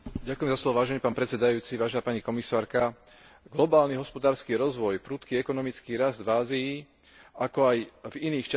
Globálny hospodársky rozvoj, prudký ekonomický rast v Ázii, ako aj v iných častiach sveta vygenerovali enormný dopyt po energetických zdrojoch.